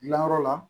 Gilanyɔrɔ la